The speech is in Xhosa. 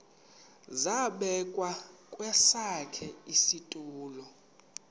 zabekwa kwesakhe isitulo